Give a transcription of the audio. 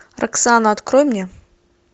роксана открой мне